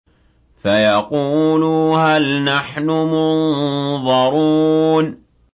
فَيَقُولُوا هَلْ نَحْنُ مُنظَرُونَ